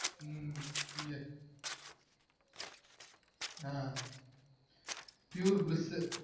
உம் ஆஹ் pure bliss